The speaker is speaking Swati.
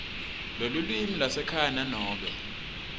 lelulwimi lwasekhaya nanobe